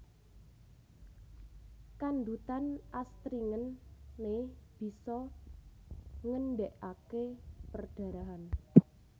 Kandhutan astringent né bisa ngendhegaké perdarahan